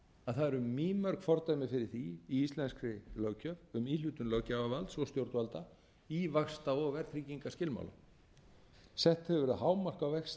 að það eru mýmörg fordæmi fyrir því í íslenskri löggjöf um íhlutun löggjafarvalds og stjórnvalda í vaxta og verðtryggingarskilmálum sett hefur verið hámark á vexti